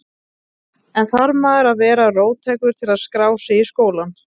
En þarf maður að vera róttækur til að skrá sig í skólann?